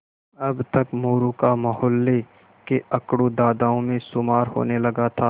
अब तक मोरू का मौहल्ले के अकड़ू दादाओं में शुमार होने लगा था